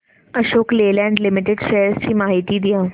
Ashok Leyland limited shares ची माहिती द्या